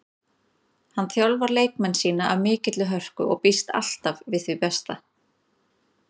Hann þjálfar leikmenn sína af mikilli hörku og býst alltaf við því besta.